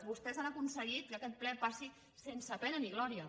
vostès han aconseguit que aquest ple passi sense pena ni glòria